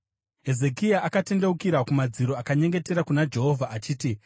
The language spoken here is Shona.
Hezekia akatendeukira kumadziro akanyengetera kuna Jehovha achiti,